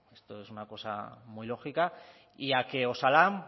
esto es una cosa muy lógica y a que osalan